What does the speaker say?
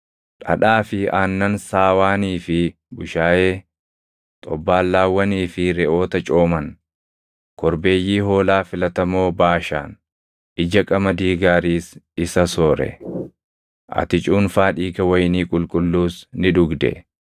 dhadhaa fi aannan saawaanii fi bushaayee, xobbaallaawwanii fi reʼoota cooman, korbeeyyii hoolaa filatamoo Baashaan, ija qamadii gaariis isa soore. Ati cuunfaa dhiiga wayinii qulqulluus ni dhugde.